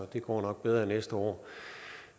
det går nok bedre næste år